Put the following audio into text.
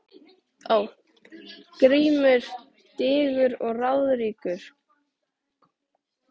GRÍMUR: Digur og ráðríkur